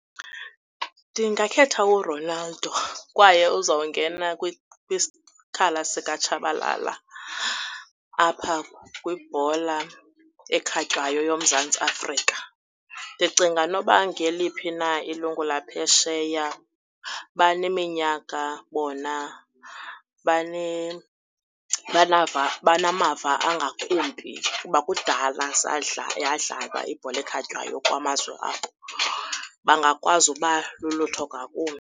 Ndingakhetha uRonaldo kwaye uzawungena kwisikhala sikaTshabalala apha kwibhola ekhatywayo yoMzantsi Afrika. Ndicinga noba ngeliphi na ilungu laphesheya baneminyaka bona, banamava angakumbi kuba kudala yadlalwa ibhola ekhatywayo kwamazwe abo. Bangakwazi ukuba lulutho ngakumbi.